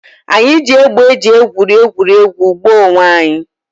Anyị ji égbè e ji egwuri egwuregwu gbaa onwe anyị